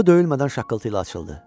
Qapı döyülmədən şaqqıltı ilə açıldı.